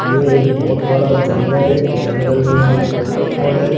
यह एक बहुत बड़ा जंगल है जंगल में एक वॉटरफॉल है।